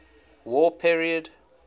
war period